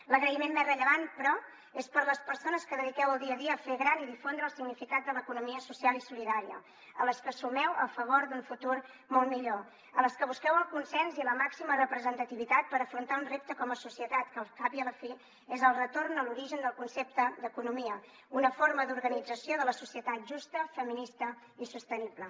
l’agraïment més rellevant però és per a les persones que dediqueu el dia a dia a fer gran i difondre el significat de l’economia social i solidària a les que sumeu a favor d’un futur molt millor a les que busqueu el consens i la màxima representativitat per afrontar un repte com a societat que al cap i a la fi és el retorn a l’origen del concepte d’economia una forma d’organització de la societat justa feminista i sostenible